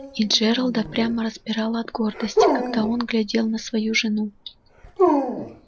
и джералда прямо распирало от гордости когда он глядел на свою жену